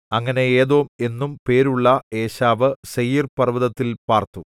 അങ്ങനെ ഏദോം എന്നും പേരുള്ള ഏശാവ് സേയീർപർവ്വതത്തിൽ പാർത്തു